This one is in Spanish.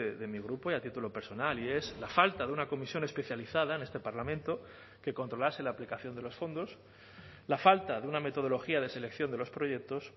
de mi grupo y a título personal y es la falta de una comisión especializada en este parlamento que controlase la aplicación de los fondos la falta de una metodología de selección de los proyectos